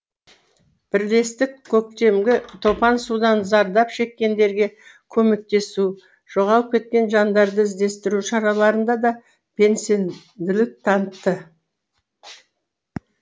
бірлестік көктемгі топан судан зардап шеккендерге көмектесу жоғалып кеткен жандарды іздестіру шараларында да белсенділік танытты